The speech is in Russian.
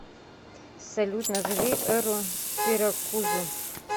салют назови эру сиракузы